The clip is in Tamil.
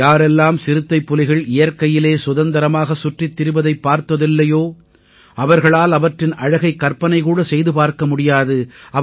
யாரெல்லாம் சிறுத்தைப்புலிகள் இயற்கையிலே சுதந்திரமாகச் சுற்றித் திரிவதைப் பார்த்ததில்லையோ அவர்களால் அவற்றின் அழகைக் கற்பனைகூடச் செய்து பார்க்க முடியாது